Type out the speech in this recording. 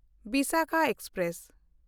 Visakha express